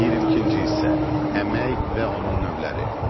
22-ci hissə: Əmək və onun növləri.